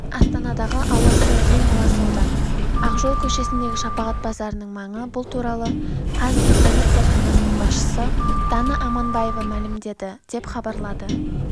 астанадағы ауасы ең лас аудан ақжол көшесіндегі шапағат базарының маңы бұл туралы қазгидромет зертханасының басшысы дана аманбаева мәлімдеді деп хабарлайды